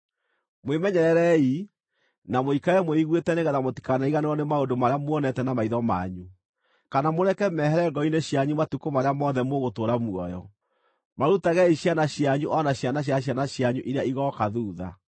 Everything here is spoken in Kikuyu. Mwĩmenyererei, na mũikare mwĩiguĩte nĩgeetha mũtikanariganĩrwo nĩ maũndũ marĩa muonete na maitho manyu, kana mũreke mehere ngoro-inĩ cianyu matukũ marĩa mothe mũgũtũũra muoyo. Marutagei ciana cianyu o na ciana cia ciana cianyu iria igooka thuutha.